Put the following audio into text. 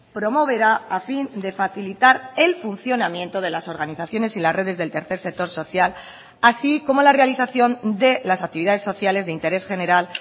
promoverá a fin de facilitar el funcionamiento de las organizaciones y las redes del tercer sector social así como la realización de las actividades sociales de interés general